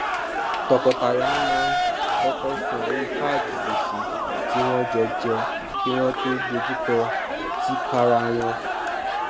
tọkọtaya máa ń kọkọ san owó kaadi gbèsè tí wọn jọ jẹ kí wọn tó dojú kọ tìkára wọn